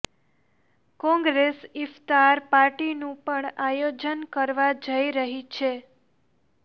કોંગ્રેસ ઈફ્તાર પાર્ટીનું પણ આયોજન કરવા જઈ રહી છે